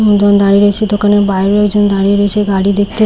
একজন দাঁড়িয়ে রয়েছে দোকানের বাইররেও একজন দাঁড়িয়ে রয়েছে গাড়ি দেখতে- এ--